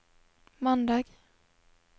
mandag